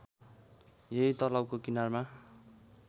यही तलाउको किनारमा